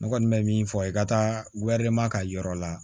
Ne kɔni bɛ min fɔ i ka taa ka yɔrɔ la